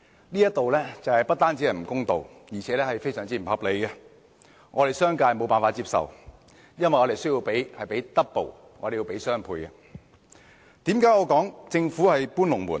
這種做法不單不公道，而且非常不合理，商界是無法接受的，因為我們需要支付雙倍款項。